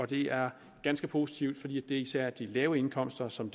det er ganske positivt fordi det især er de lave indkomster som